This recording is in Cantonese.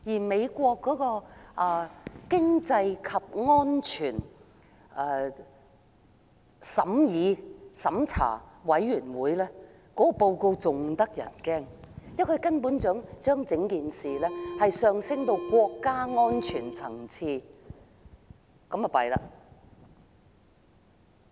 美中經濟與安全審查委員會的報告更加嚇人，因為它把事情提升至國家安全層次，這下可慘了！